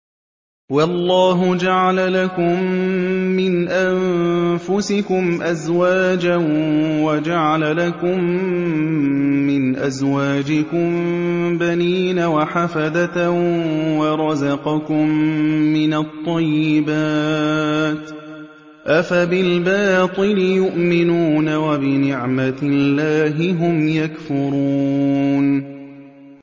وَاللَّهُ جَعَلَ لَكُم مِّنْ أَنفُسِكُمْ أَزْوَاجًا وَجَعَلَ لَكُم مِّنْ أَزْوَاجِكُم بَنِينَ وَحَفَدَةً وَرَزَقَكُم مِّنَ الطَّيِّبَاتِ ۚ أَفَبِالْبَاطِلِ يُؤْمِنُونَ وَبِنِعْمَتِ اللَّهِ هُمْ يَكْفُرُونَ